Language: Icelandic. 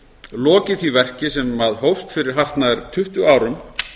lokið því verki sem hófst fyrir hartnær tuttugu árum